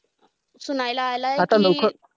आलं आहे कि,